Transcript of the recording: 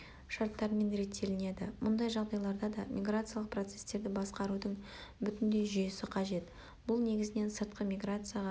шарттармен реттелінеді мұндай жағдайларда да миграциялық процестерді басқарудың бүтіндей жүйесі қажет бұл негізінен сыртқы миграцияға